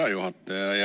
Hea juhataja!